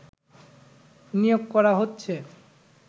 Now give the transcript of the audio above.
নিয়োগ করা হচ্ছে